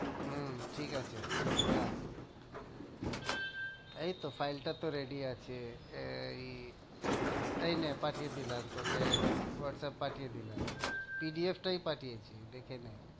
হম ঠিক আছে এই তো file টা তো ready আছে, এই হ্যাঁ, এই নে পাঠিয়ে দিলাম তোকে হোয়াটসঅ্যাপে পাঠিয়ে দিলাম PDF টাই পাঠিয়েছি, দেখে নে।